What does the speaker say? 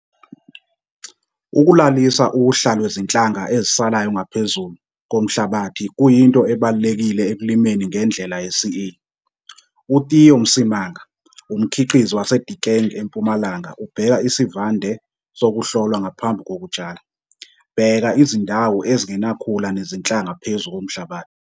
Photo 2- Ukulalisa uhla lwezinhlanga ezisalayo ngaphezulu komhlabathi kuyinto ebalulekile ekulimeni ngendlela yeCA. UTheo Msimanga, umkhiqizi waseDiekeng eMpumalanga ubheka isivande sokuhlolwa ngaphambi kokutshala. Bheka izindawo ezingenakhula nezinhlanga phezu komhlabathi.